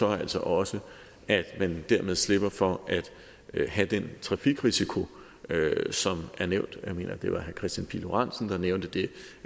altså også at man dermed slipper for at have den trafikrisiko som er nævnt jeg mener at det var herre kristian pihl lorentzen der nævnte det